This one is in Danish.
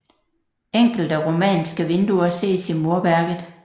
Enkelte romanske vinduer ses i murværket